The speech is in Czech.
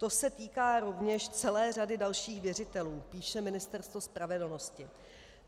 To se týká rovněž celé řady dalších věřitelů, píše Ministerstvo spravedlnosti.